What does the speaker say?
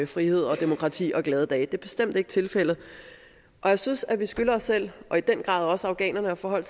frihed og demokrati og glade dage det er bestemt ikke tilfældet og jeg synes at vi skylder os selv og i den grad også afghanerne at forholde